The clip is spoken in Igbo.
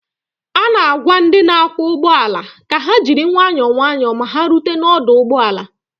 a na-agwa ndị ọkwọ ụgbọ ala ka ha jiri nwayọ nwayọ ma ha rute n'ọdụ ụgbọ ala